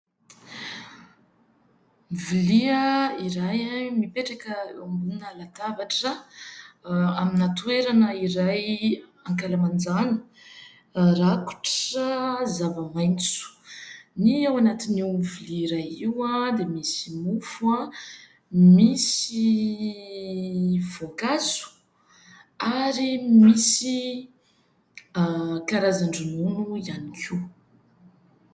Vilia iray mipetraka eo ambonina latabatra, amina toerana iray ankalamanjana rakotra zava-maitso. Ny ao anatiny ao amin'ny vilia iray io dia misy mofo, misy voankazo ary misy karazan-dronono ihany koa.